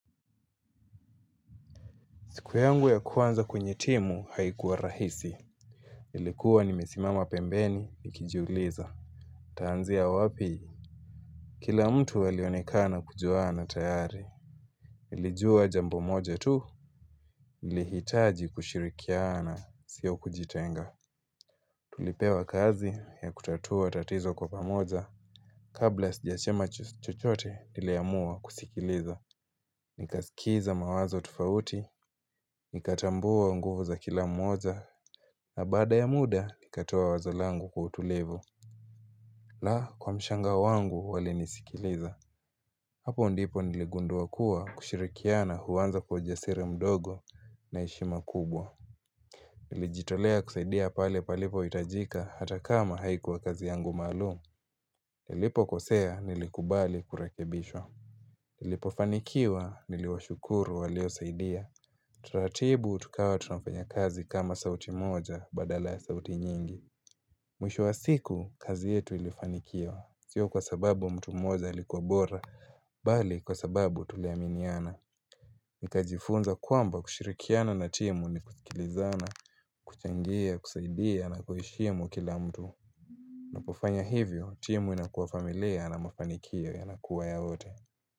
Siku yangu ya kuwanza kwenye timu, haikuwa rahisi. Nilikuwa nimesimama pembeni, nikijiuliza. Taanzia wapi? Kila mtu alionekana kujuana tayari. Niljua jambo moja tu. Nihitaji kushirikiana, sio kujitenga. Nilipewa kazi ya kutatua tatizo kwa pamoja. Kabla sijachema chochote, niliamua kusikiliza. Nikaskiza mawazo tofauti. Nikatambua nguvu za kila mmoja. Na baada ya muda, nikatoa wazo langu kwa utulivu. La! Kwa mshangao wangu walinisikiliza. Hapo ndipo niligundua kuwa kushirikiana huanza kwa ujasiri mdogo na heshima kubwa. Nilijitolea kusaidia pale palipo hitajika hata kama haikuwa kazi yangu maalumu. Nilipokosea, nilikubali kurekebishwa. Nilipofanikiwa, niliwashukuru waliosaidia. Taratibu tukawa tunafanya kazi kama sauti moja badala ya sauti nyingi. Mwisho ya siku, kazi yetu ilifanikiwa. Sio kwa sababu mtu mmoja alikuwa bora, bali kwa sababu tuliaminiana. Nikajifunza kwamba kushirikiana na timu ni kuskilizana, kuchangia, kusaidia na kuheshimu kila mtu. Napofanya hivyo, timu inakuwa familia na mafanikio yanakua ya wote.